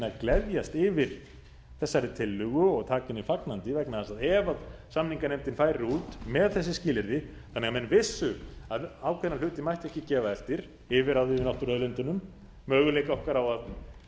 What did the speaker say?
að gleðjast yfir þessari tillögu og taka henni fagnandi vegna þess að ef samninganefndin færi út með þessi skilyrði þannig að menn vissu að ákveðna hluti mætti ekki gefa eftir yfirráð yfir náttúruauðlindunum möguleika okkar á